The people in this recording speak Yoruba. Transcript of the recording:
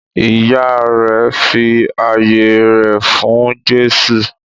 Ìyá rẹ̀ fi ayé rẹ̀ fún Jésù.